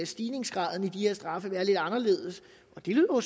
stigningsgraden i de her straffe være lidt anderledes og det lyder